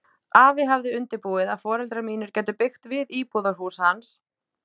Afi hafði undirbúið að foreldrar mínir gætu byggt við íbúðarhús hans